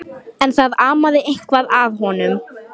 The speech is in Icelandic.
En það amaði eitthvað að honum.